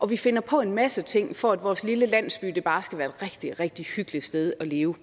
vi finder på en masse ting for at vores lille landsby bare skal være et rigtig rigtig hyggeligt sted at leve